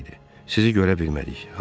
Sizi görə bilmədik, Harvi.